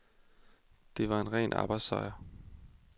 Det var en ren arbejdssejr.